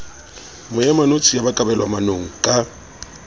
moemanotshi ya ba kabelwamanong ka